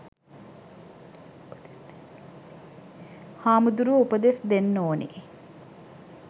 හාමුදුරුවො උපදෙස් දෙන්න ඕනෙ